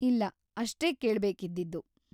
ಇಲ್ಲ, ಅಷ್ಟೇ ಕೇಳ್ಬೇಕಿದ್ದಿದ್ದು.